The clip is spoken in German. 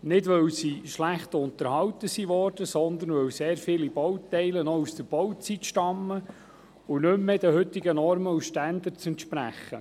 Nicht weil sie schlecht unterhalten worden sind, sondern weil sehr viele Bauteile noch aus der Bauzeit stammen und nicht mehr den heutigen Normen und Standards entsprechen.